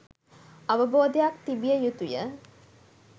අවබෝධයක් තිබිය යුතුය.